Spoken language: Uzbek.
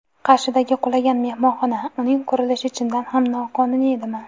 Qarshidagi qulagan mehmonxona: uning qurilishi chindan ham noqonuniy edimi?.